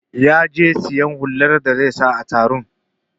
Ya je siyan hular da zai saka a taron